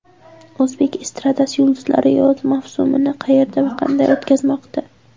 O‘zbek estradasi yulduzlari yoz mavsumini qayerda va qanday o‘tkazmoqda?.